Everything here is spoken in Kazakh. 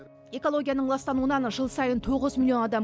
экологияның ластануынан жыл сайын тоғыз миллион адам